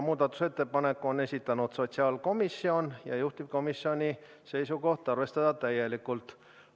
Muudatusettepaneku on esitanud sotsiaalkomisjon ja juhtivkomisjoni seisukoht on arvestada seda täielikult.